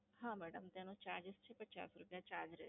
હા મેડમ, તેનો Charges છે પચાસ રૂપિયા Charge રહેશે.